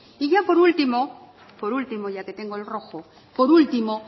y por último por último ya que tengo el rojo por último